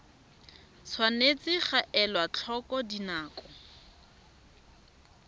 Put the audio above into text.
tshwanetse ga elwa tlhoko dinako